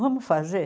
Vamos fazer?